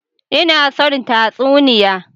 Ina son tatsuniya.